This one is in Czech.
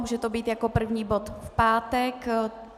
Může to být jako první bod v pátek.